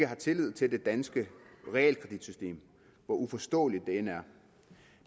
har tillid til det danske realkreditsystem hvor uforståeligt det end er